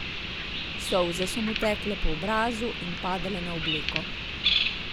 Solze so mu tekle po obrazu in padale na obleko.